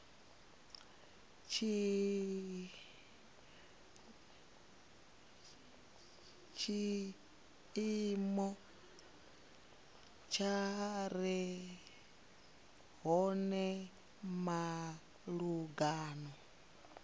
tshiimo tshi re hone malugana